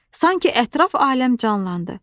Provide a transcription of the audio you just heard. Sanki ətraf aləm canlandı.